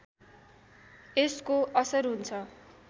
यसको असर हुन्छ